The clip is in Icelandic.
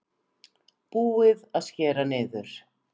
Búið að skera niður